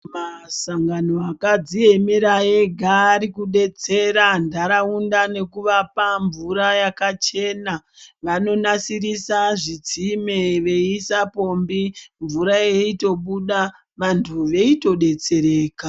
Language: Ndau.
Masangano akadziemera ega arikudetsera ntaraunda ngekuvapa mvura yakachena vanonasirisa zvitsime veiisa pombi mvura yeitobuda vanthu veitodetsereka.